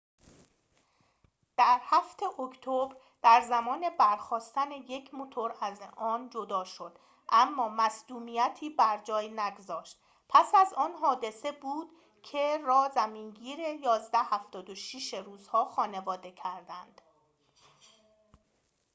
در ۷ اکتبر در زمان برخاستن یک موتور آن جدا شد اما مصدومیتی بر جای نگذاشت پس از آن حادثه بود که روس‌ها خانواده il-۷۶ را زمینگیر کردند